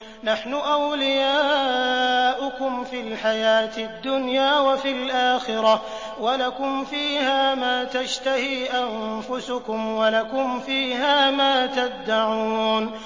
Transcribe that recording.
نَحْنُ أَوْلِيَاؤُكُمْ فِي الْحَيَاةِ الدُّنْيَا وَفِي الْآخِرَةِ ۖ وَلَكُمْ فِيهَا مَا تَشْتَهِي أَنفُسُكُمْ وَلَكُمْ فِيهَا مَا تَدَّعُونَ